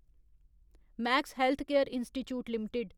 max healthcare institute limited